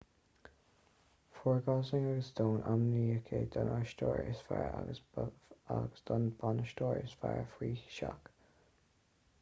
fuair gosling agus stone ainmniúcháin don aisteoir is fearr agus don bhanaisteoir is fearr faoi seach